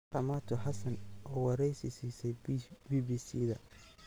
Ramatu Hassan oo wareysi siisay BBC-da.